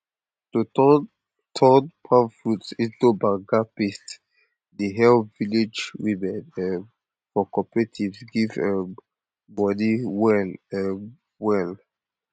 to turn turn palm fruits into banga paste dey help village women um for cooperatives get um money well um well